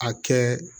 A kɛ